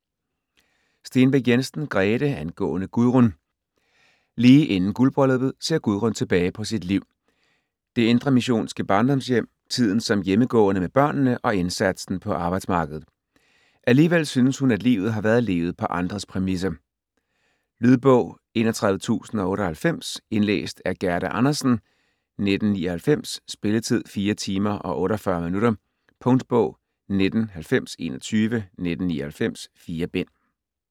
Stenbæk Jensen, Grete: Angående Gudrun Lige inden guldbrylluppet ser Gudrun tilbage på sit liv: det indremissionske barndomshjem, tiden som hjemmegående med børnene og indsatsen på arbejdsmarkedet. Alligevel synes hun, at livet har været levet på andres præmisser. Lydbog 31098 Indlæst af Gerda Andersen, 1999. Spilletid: 4 timer, 48 minutter. Punktbog 199021 1999. 4 bind.